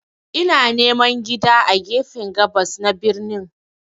Ina neman gida a gefen gabas na birnin.